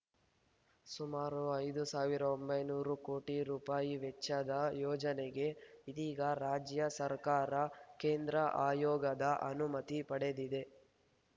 ಸುಮಾರು ಐದು ಸಾವಿರ ಒಂಬೈನೂರು ಕೋಟಿ ರುಪಾಯಿ ವೆಚ್ಚದ ಯೋಜನೆಗೆ ಇದೀಗ ರಾಜ್ಯ ಸರ್ಕಾರ ಕೇಂದ್ರ ಆಯೋಗದ ಅನುಮತಿ ಪಡೆದಿದೆ